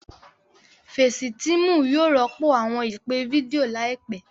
Fecitiimu yóò rọpo awọn ipe fidio laipẹ.